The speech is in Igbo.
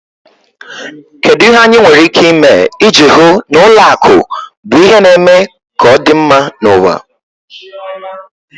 Kedu ihe anyị nwere ike ime iji hụ na ụlọ akụ bụ ihe na-eme ka ọ dị mma n'ụwa?